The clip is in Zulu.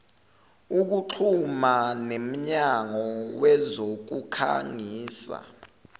ukuxhuma nemnyango wezokukhangisa